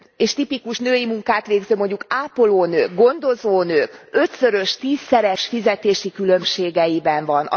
és tipikus női munkát végző mondjuk ápolónők, gondozónők ötszörös, tízszeres fizetési különbségeiben van.